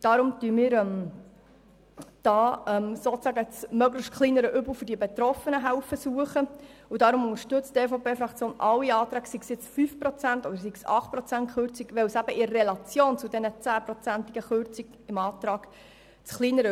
Deshalb helfen wir, das möglichst kleinere Übel für die Betroffenen zu suchen und unterstützen deshalb alle Anträge, ungeachtet dessen, ob sie eine Kürzung um 5 Prozent oder um 8 Prozent anstreben.